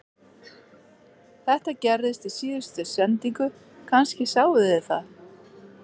Þetta gerðist í síðustu sendingu, kannski sáuð þið það